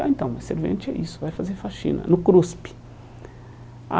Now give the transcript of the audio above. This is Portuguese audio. Ah, então, mas servente é isso, vai fazer faxina, no cruspe.